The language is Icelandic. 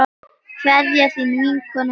Kveðja, þín vinkona Íris.